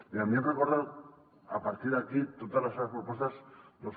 i a mi em recorden a partir d’aquí totes les seves propostes doncs